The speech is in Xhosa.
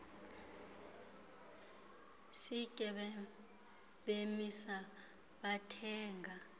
sitye bemisa bathenga